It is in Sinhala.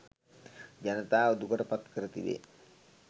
ජනතාව දුකට පත් කර තිබේ